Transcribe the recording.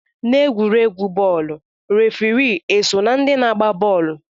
N'egwuregwu bọọlụ, refri eso na ndị na-agba bọọlụ?